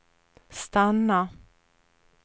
stanna